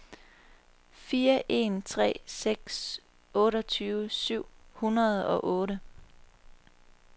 fire en tre seks otteogtyve syv hundrede og otte